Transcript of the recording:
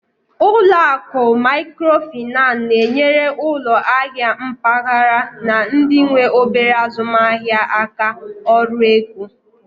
Ụlọ akụ Maikrofinan na-enyere ụlọ ahịa mpaghara na ndị nwe obere azụmaahịa aka ọrụ ego.